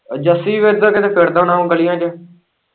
ਜੱਸੀ ਵੀ ਇੱਧਰ ਕਿਤੇ ਫਿਰਦਾ ਹੁਣਾ ਵਾ ਗਲ਼ੀਆਂ ਚ।